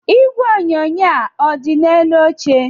Igwe onyonyo a ọ dị n'elu oche?